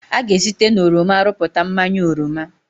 A ga-esite na oroma rụpụta mmanya oroma.